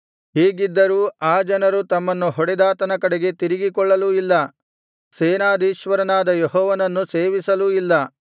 ಹೀಗಿದ್ದರೂ ಆ ಜನರು ತಮ್ಮನ್ನು ಹೊಡೆದಾತನ ಕಡೆಗೆ ತಿರುಗಿಕೊಳ್ಳಲೂ ಇಲ್ಲ ಸೇನಾಧೀಶ್ವರನಾದ ಯೆಹೋವನನ್ನು ಸೇವಿಸಲೂ ಇಲ್ಲ